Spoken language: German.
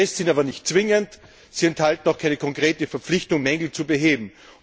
Die Tests sind aber nicht zwingend und enthalten auch keine konkrete Verpflichtung, Mängel zu beheben.